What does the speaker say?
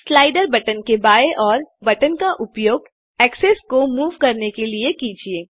slider button के बाएँ ओर बटन का उपयोग एक्सेस को मूव करने के लिए कीजिए